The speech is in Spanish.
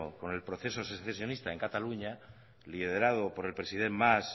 con el proceso secesionista en cataluña liderado por el president mas